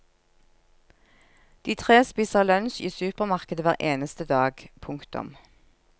De tre spiser lunsj i supermarkedet hver eneste dag. punktum